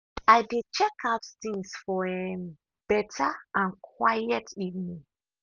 i dey check out things for um beta and quiet evening.